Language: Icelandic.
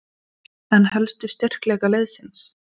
En helstu styrkleika liðsins?